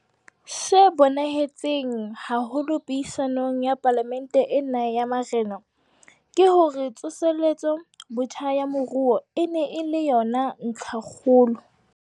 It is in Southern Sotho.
Se bonahetseng haholo puisanong ya Palamente ena ya Marena, ke hore tsoseletso botjha ya moruo e ne e le yona ntlhakgolo.